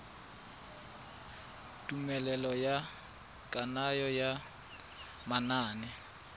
tumelelo ya kananyo ya manane